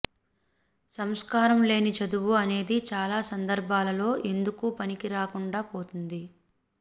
సంస్కారం లేని చదువు అనేది చాలా సందర్భాలలో ఎందుకూ పనికి రాకుండా పోతుంది